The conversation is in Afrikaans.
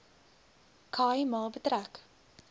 khai ma betrek